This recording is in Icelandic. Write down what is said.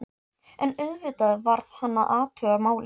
En auðvitað varð hann að athuga málið.